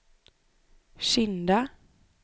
Kinda